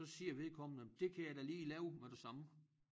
Så siger vedkommende det kan jeg da lige lave med det samme